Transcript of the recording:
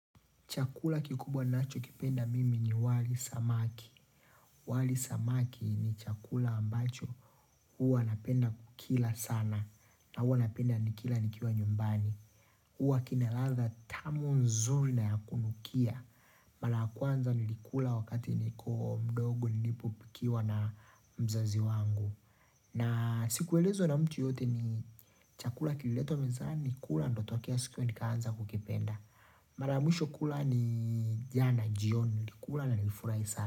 Chakula kikubwa ninacho kipenda mimi ni wali samaki. Wali samaki ni chakula ambacho huwa napenda kukila sana. Na huwa napenda nikila nikiwa nyumbani. Huwa kinaladha tamu nzuri na ya kunukia. Mara kwanza nilikula wakati niko mdogo nilipo pikiwa na mzazi wangu. Na sikuelezwa na mtu yoyote ni chakula kililetwa mezani kula ndotokea siku hiyo nikaanza kukipenda. Maramwisho kula ni jana jioni kula na nilifurai sana.